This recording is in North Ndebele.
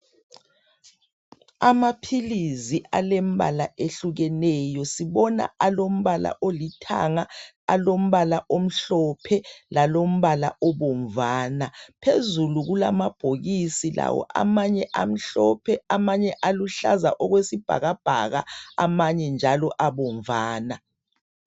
Amaphilisi alembala ehlukeneyo sibona alombala olithanga alombala omhlophe lalombala obomvana phezulu kulamabhokisi lawo amanye amhlophe amanye aluhlaza okwesibhakabhaka amanye njalo abomvana.